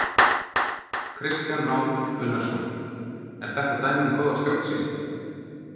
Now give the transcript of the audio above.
Kristján Már Unnarsson: Er þetta dæmi um góða stjórnsýslu?